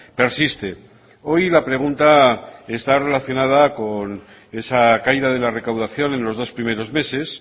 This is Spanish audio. persiste hoy la pregunta está relacionada con esa caída de la recaudación en los dos primeros meses